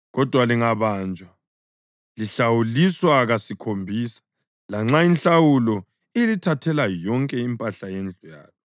Kodwa lingabanjwa lihlawuliswa kasikhombisa, lanxa inhlawulo ilithathela yonke impahla yendlu yalo.